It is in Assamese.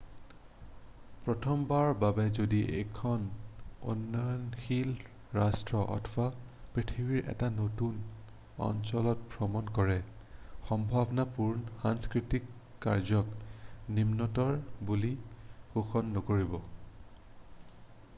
প্ৰথমবাৰৰ বাবে যদি এখন উন্নয়নশীল ৰাষ্ট্ৰ অথবা পৃথিৱীৰ এটা নতুন অঞ্চলত ভ্ৰমণ কৰে সম্ভাৱনাপূৰ্ণ সাংস্কৃতিক কাৰ্যক নিম্নতৰ বুলি পোষণ নকৰিব